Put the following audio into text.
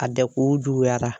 A dɛku juguyara.